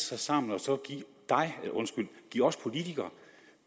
sig sammen og så give os politikere